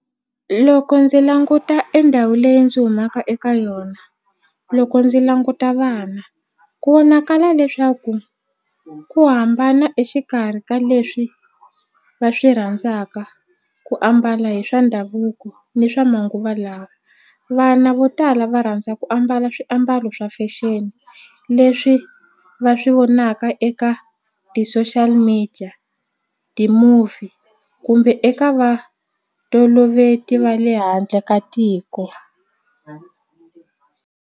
Loko ndzi languta e ndhawu leyi ndzi humaka eka yona loko ndzi languta vana ku vonakala leswaku ku hambana exikarhi ka leswi va swi rhandzaka ku ambala hi swa ndhavuko ni swa manguva lawa vana vo tala va rhandza ku ambala swiambalo swa fashion leswi va swi vonaka eka ti-social media, ti-movie kumbe eka vanhu toloveti va le handle ka tiko.